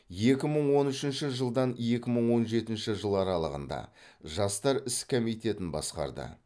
екі мың он үшінші жылдан екі мың он жетінші жыл аралығында жастар ісі комитетін басқарды